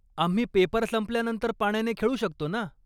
आम्ही पेपर संपल्यानंतर पाण्याने खेळू शकतो ना?